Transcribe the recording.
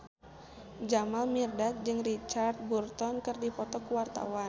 Jamal Mirdad jeung Richard Burton keur dipoto ku wartawan